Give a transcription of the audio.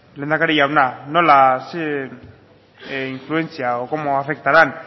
lehendakari jauna zer influentzia o cómo afectarán